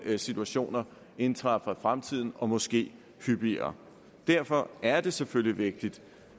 situationer indtræffer fremtiden og måske hyppigere derfor er det selvfølgelig vigtigt